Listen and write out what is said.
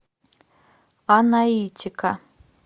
анаитика